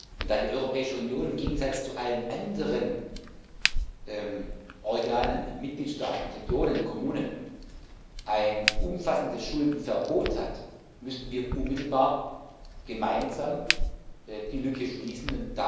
Und da die Europäische Union im Gegensatz zu allen anderen Organen Mitgliedstaaten, Regionen, Kommunen ein umfassendes Schuldenverbot hat, müssten wir unmittelbar gemeinsam die Lücke schließen.